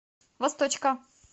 восточка